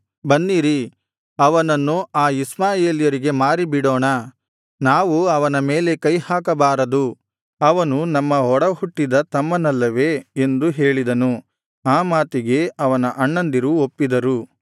ಬನ್ನಿರಿ ಅವನನ್ನು ಆ ಇಷ್ಮಾಯೇಲ್ಯರಿಗೆ ಮಾರಿಬಿಡೋಣ ನಾವು ಅವನ ಮೇಲೆ ಕೈಹಾಕಬಾರದು ಅವನು ನಮ್ಮ ಒಡಹುಟ್ಟಿದ ತಮ್ಮನಲ್ಲವೇ ಎಂದು ಹೇಳಿದನು ಆ ಮಾತಿಗೆ ಅವನ ಅಣ್ಣಂದಿರು ಒಪ್ಪಿದರು